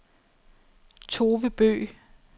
Tove Bøgh